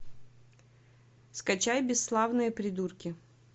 скачай бесславные придурки